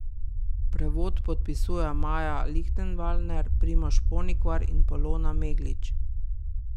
Prevod podpisujejo Maja Lihtenvalner, Primož Ponikvar in Polona Meglič.